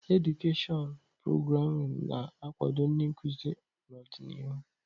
Edụkeshịọn prograamụ na-akwado ndị nkuzi n'ọdịnihu.